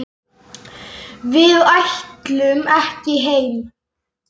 Við ætlum ekki heim!